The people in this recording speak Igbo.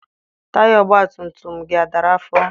Taya ọgbatumtum gị a dara afọ?